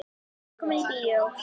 Velkomnir í bíó.